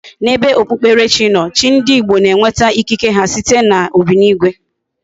Na ebe okpukpere chi no, chi ndi Igbo na enweta ikike ha site na obinigwe